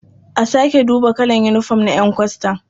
A sake duba kalar yinifom na ƴan kwastan.